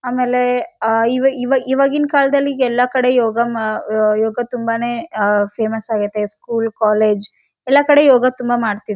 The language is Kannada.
ಆಮೇಲೆ ಅಹ್ ಇವ ಇವ ಇವಾಗಿನ ಕಾಲದಲ್ಲಿೆ ಎಲ್ಲ ಕಡೆ ಯೋಗ ಮಾ ಅಹ್ ಯೋಗ ತುಂಬಾನೆ ಅಹ್ ಫೇಮಸ್‌ ಆಗೈತೆ ಸ್ಕೂಲ್‌ ಕಾಲೇಜ್‌ ಎಲ್ಲ ಕಡೆ ಯೋಗ ತುಂಬ ಮಾಡ್ತಿದ್--